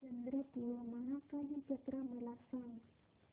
चंद्रपूर महाकाली जत्रा मला सांग